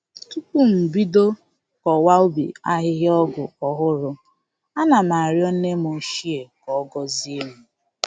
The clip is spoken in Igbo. Tupu m bido kọwa ubi ahịhịa ọgwụ ọhụrụ, ana m arịọ nne m ochie ka ọ gọzie m